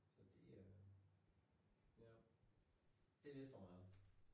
Så det øh ja det lidt for meget